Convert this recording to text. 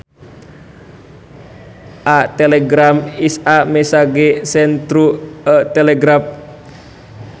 A telegram is a message sent through a telegraph